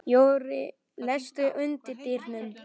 Jörri, læstu útidyrunum.